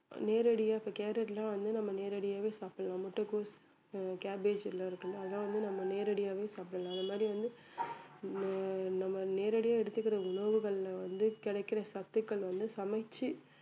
நேரடியா இப்ப கேரட்லாம் வந்து நம்ம நேரடியாவே சாப்பிடலாம் முட்டைகோஸ் அஹ் cabbage எல்லாம் இருக்குல்ல அதெல்லாம் வந்து நம்ம நேரடியாவே சாப்பிடலாம் அந்த மாதிரி வந்து ஆஹ் நம்ம நேரடியா எடுத்துக்கிற உணவுகள்ல வந்து கிடைக்கிற சத்துக்கள் வந்து சமைச்சு